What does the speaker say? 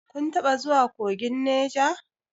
Kun taɓa zuwa kogin Neja?